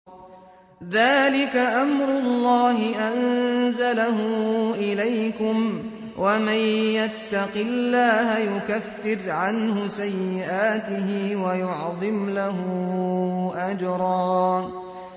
ذَٰلِكَ أَمْرُ اللَّهِ أَنزَلَهُ إِلَيْكُمْ ۚ وَمَن يَتَّقِ اللَّهَ يُكَفِّرْ عَنْهُ سَيِّئَاتِهِ وَيُعْظِمْ لَهُ أَجْرًا